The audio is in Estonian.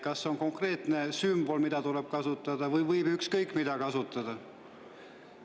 Kas on konkreetne sümbol, mida tuleb kasutada, või võib kasutada ükskõik mida?